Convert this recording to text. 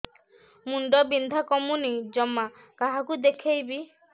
ମୁଣ୍ଡ ବିନ୍ଧା କମୁନି ଜମା କାହାକୁ ଦେଖେଇବି